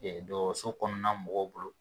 Ee dɔgɔtɔrɔso kɔnɔna mɔgɔw bolo